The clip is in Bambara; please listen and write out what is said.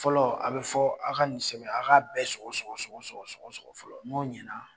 Fɔlɔ a bɛ fɔ aw ka nin sɛbɛn aw k'a bɛɛ sɔgɔ-sɔgɔ-sɔgɔ-sɔgɔ fɔlɔ n'o ɲɛna